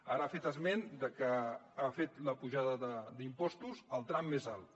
ara ha fet esment que ha fet l’apujada d’impostos al tram més alt